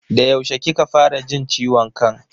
Da yaushe kika fara jin ciwon kan?